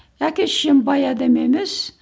әке шешем бай адам емес